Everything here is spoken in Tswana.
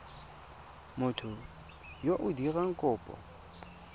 motho yo o dirang kopo